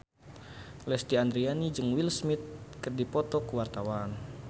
Lesti Andryani jeung Will Smith keur dipoto ku wartawan